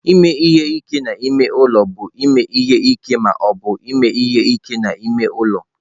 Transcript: Ime ihe ike n'ime ụlọ bụ ime ihe ike ma ọ bụ ime ihe ike n'ime ụlọ.